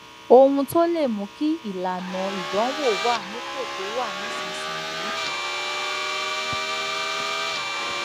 ohun tó lè mú kí ìlànà ìdánwò wà nípò tó wà nísinsìnyí